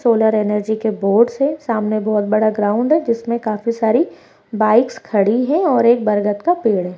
Solar energy के boards है सामने बहुत बड़ा ग्राउंड है जिसमे काफी सारी बाइक्स खड़ी है और एक बरगद का पेड़ है।